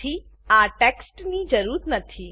આથી આ ટેક્સ્ટની જરૂર નથી